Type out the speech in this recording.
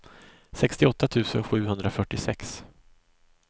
sextioåtta tusen sjuhundrafyrtiosex